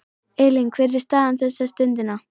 Elín, hver er staðan þessa stundina?